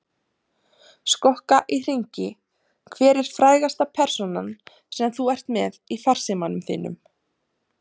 Skokka í hringi Hver er frægasta persónan sem þú ert með í farsímanum þínum?